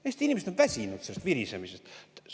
Eesti inimesed on väsinud sellest virisemisest!